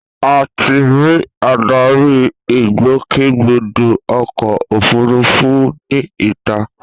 A ti ri adarí ìgbòkègbodò ọkọ̀ òfurufú ní ìta